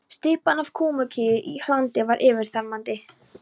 Stybban af kúamykju og hlandi var yfirþyrmandi.